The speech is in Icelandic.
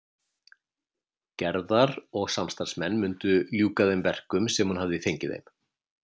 Gerðar og samstarfsmenn mundu ljúka þeim verkum sem hún hafði fengið þeim.